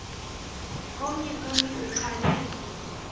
omnye kuni uchane